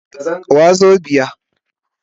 Wazobia